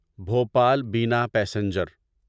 بھوپال بنا پیسنجر